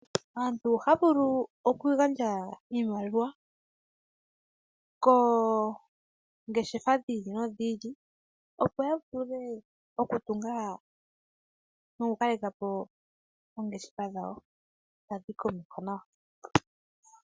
Aantu ohaya vulu oku gandja iimaliwa koongeshefa dhi ili nodhi ili opo ya vule oku tunga noku kaleka po oongeshefa dhawo tadhi yi komeho nawa.